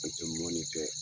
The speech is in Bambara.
Atɛ mɔni kɛ.